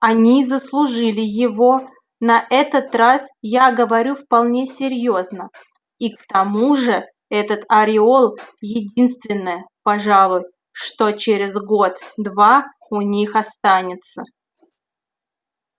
они заслужили его на этот раз я говорю вполне серьёзно и к тому же этот ореол единственное пожалуй что через год-два у них останется